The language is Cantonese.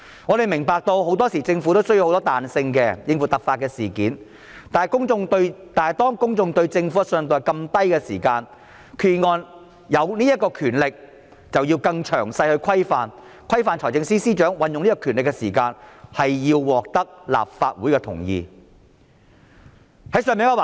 我們明白，政府很多時候需要彈性，應付突發事件，但當公眾對政府的信任度較低時，決議案賦予司長這項權力，便須有詳細的規範，規範財政司司長運用這項權力時，須獲得立法會同意。